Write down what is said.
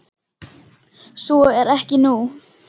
Svo er ekki nú.